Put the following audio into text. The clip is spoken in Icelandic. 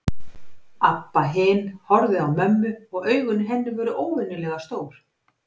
Abba hin horfði á mömmu og augun í henni voru óvenjulega stór.